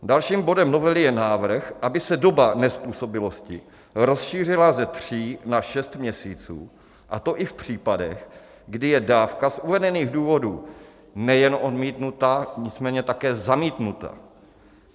Dalším bodem novely je návrh, aby se doba nezpůsobilosti rozšířila ze tří na šest měsíců, a to i v případech, kdy je dávka z uvedených důvodů nejen odmítnuta, nicméně také zamítnuta.